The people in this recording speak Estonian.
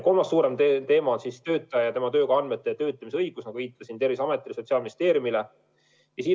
Kolmas suurem teema on töötaja ja tema töökoha andmete töötlemise õiguse andmine, nagu viitasin, Terviseametile ja Sotsiaalministeeriumile.